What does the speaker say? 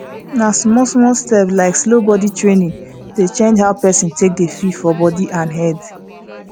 na smallsmall steps like slow body training dey change how person dey feel for body and head